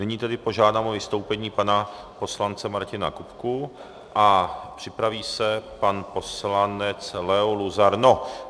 Nyní tedy požádám o vystoupení pana poslance Martina Kupku a připraví se pan poslanec Leo Luzar.